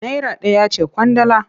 Naira ɗaya ce ƙwandala.